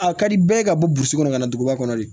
A ka di bɛɛ ka bɔsi kɔnɔ kana duguba kɔnɔ de